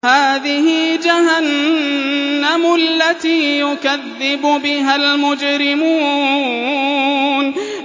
هَٰذِهِ جَهَنَّمُ الَّتِي يُكَذِّبُ بِهَا الْمُجْرِمُونَ